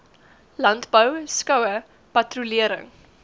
landbou skoue patrolering